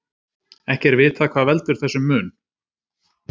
Ekki er vitað hvað veldur þessum mun.